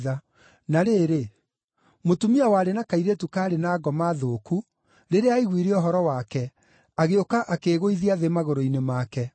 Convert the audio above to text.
Na rĩrĩ, mũtumia warĩ na kairĩtu kaarĩ na ngoma thũku rĩrĩa aiguire ũhoro wake, agĩũka akĩĩgũithia thĩ magũrũ-inĩ make.